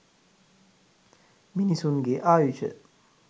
මිනිසුන්ගේ ආයුෂ